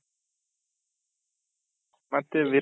ಮತ್ತೆ